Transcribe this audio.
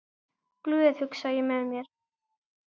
Glöð, hugsa ég með mér.